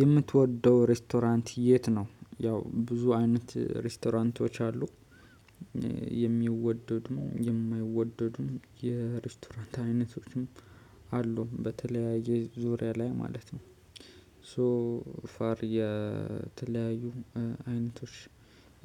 የምትወደው ሬስቶራንት የት ነው? ያው ብዙ አይነት ሬስቶራንቶች አሉ። የሚወደድም የማይወደዱም የሬስቶራንት አይነቶችም አሉ በተለያየ ዙሪያ ላይ ማለት ነው። ሶ ፋር የተለያዩ አይነቶች